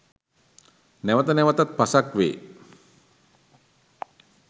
නැවත නැවතත් පසක් වේ